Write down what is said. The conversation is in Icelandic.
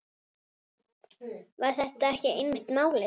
Var þetta ekki einmitt málið?